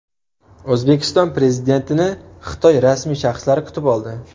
O‘zbekiston Prezidentini Xitoy rasmiy shaxslari kutib oldi.